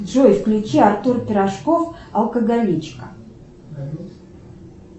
джой включи артур пирожков алкоголичка